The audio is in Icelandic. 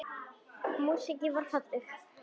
Músíkin varð falleg.